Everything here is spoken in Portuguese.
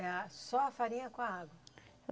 É só a farinha com a água?